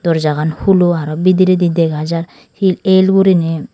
doorjagan hulo aro bidiredi dega jar he el gurine.